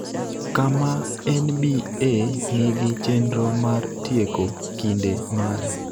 kama NBA nigi chenro mar tieko kinde mare